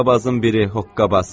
Hoqqabazın biri hoqqabaz.